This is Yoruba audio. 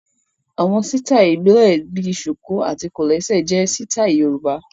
Àwọn sítáì ìbílẹ̀ bíi ṣùkù àti kòlẹ́sẹ̀ jẹ sítáì Yorùbá